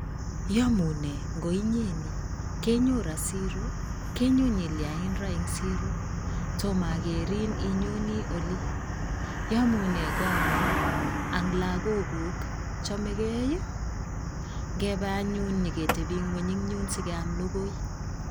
Iyamune ngoinyeni kenyon ra siiro kenyo nyilya ra eng siiro? Tomagerin inyone olii, yamunee koong'ung' ang logookuk chamegei? Ngepe anyun nyeketebii ng'wony en yun sigeam logoi.